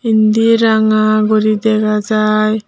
indi ranga guri dega jaai.